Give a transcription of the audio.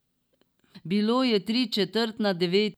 Bilo je tri četrt na devet.